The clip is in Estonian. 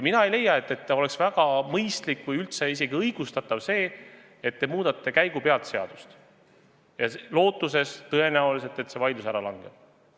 Mina ei leia, et oleks väga mõistlik või üldse isegi õigustatav see, et te muudate käigupealt seadust, lootes tõenäoliselt, et see vaidlus ära langeb.